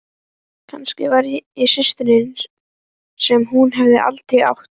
Kannski var ég systirin sem hún hafði aldrei átt.